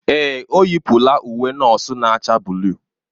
Èè, o yipụla uwe nọọsụ na-acha buluu.